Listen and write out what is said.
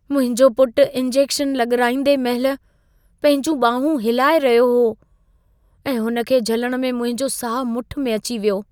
मुंहिंजो पुटु इंजेक्शन लॻाराईंदे महिल पंहिंजियूं बांहूं हिलाए रहियो हो ऐं हुन खे झलणु में मुंहिंजो साहु मुठि में अची वियो।